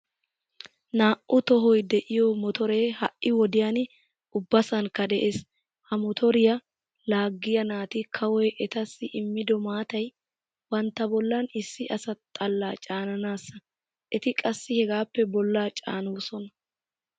Naa"u tohoy de"iyoo motoree ha"i wodiyan ubbasankka de'ees. Ha motoriya laagiya naati kawoy etassi immido maatay bantta bollan issi asa xalla caananaasa eti qassi hegaappe bollaa caanoosona.